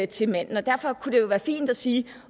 til manden derfor kunne det jo være fint at sige